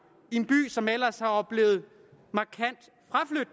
i en by som ellers har oplevet